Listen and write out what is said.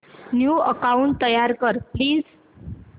new account तयार कर please